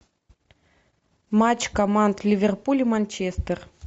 матч команд ливерпуль и манчестер